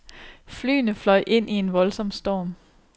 Flyene fløj ind i en voldsom storm.